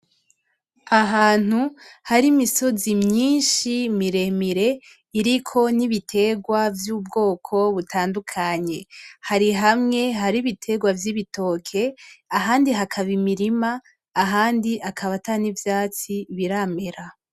Ahantu hari imisozi myinshi miremire iriko n'ibiterwa vy'ubwoko butandukanye. Hari hamwe hari ibiterwa vy'ibitoke ahandi hakaba imirima ahandi akaba atan'ivyatsi biramera.